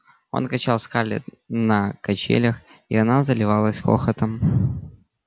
он качал скарлетт на качелях и она заливалась хохотом